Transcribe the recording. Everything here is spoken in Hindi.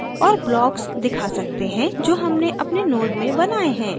और blocks दिखा सकते हैं जो हमने अपने node में बनाये हैं